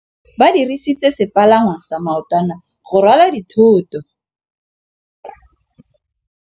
Ba dirisitse sepalangwasa maotwana go rwala dithôtô.